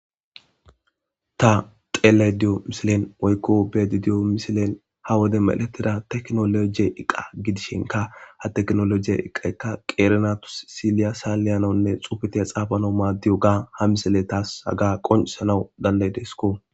Ta xeellay diyo misilen woykko bedi diyo misilen ha wode medletida teknolojiye iqa gidishenka ha teknolojiye iqaykka qeerenatus siliya saa leyanonne xufetiya xaafano maaddiyo ga ha misile taas haga qoncisanau dandayidesko.